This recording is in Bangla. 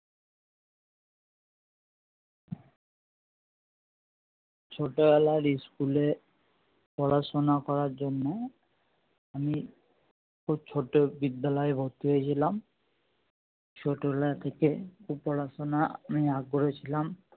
ছোটোবেলায় school এ পড়াশুনো করার জন্যে আমি খুব ছোটো বিদ্যালয়ে ভর্তি হয়েছিলাম ছোটবেলা থেকে পড়াশুনোয় আগ্রহী ছিলাম